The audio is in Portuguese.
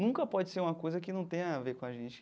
Nunca pode ser uma coisa que não tenha a ver com a gente.